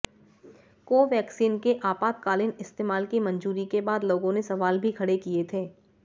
Covaxin के आपातकालीन इस्तेमाल की मंजूरी के बाद लोगों ने सवाल भी खड़े किए थे